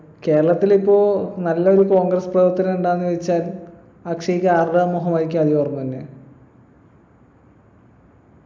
കേരളത്തിലിപ്പോ നല്ലൊരു congress പ്രവർത്തകൻ ഉണ്ടോന്ന് ചോയ്ച്ചാ അക്ഷയ്ക്ക് ആരുടെ മുഖമായിരിക്കും ആദ്യം ഓർമ്മവരുന്നേ